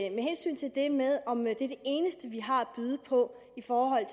i med hensyn til det med om det er det eneste vi har at byde på i forhold